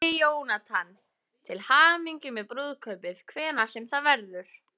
Kæri Jónatan, til hamingju með brúðkaupið, hvenær sem það verður.